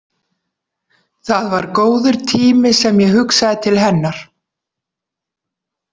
Það var góður tími sem ég hugsaði til hennar.